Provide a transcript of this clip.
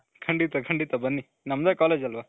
ಖಂಡಿತ ಖಂಡಿತ ಬನ್ನಿ ನಮ್ದೆ college ಅಲ್ವ